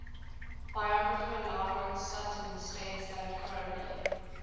biographer lawrence sutin stated that crowley